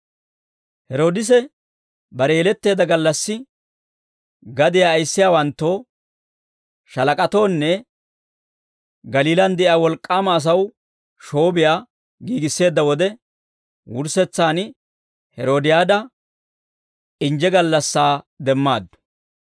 Heroodise bare yeletteedda gallassi, gadiyaa ayissiyaawanttoo, shaalak'atoonne Galiilaan de'iyaa wolk'k'aama asaw shoobiyaa giigisseedda wode, wurssetsaan Heroodiyaada injje gallassaa demmaaddu.